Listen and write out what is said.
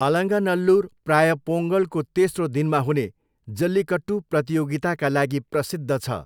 अलङ्गानल्लुर प्राय पोङ्गलको तेस्रो दिनमा हुने जल्लिकट्टू प्रतियोगिताका लागि प्रसिद्ध छ।